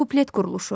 Kuplet quruluşu.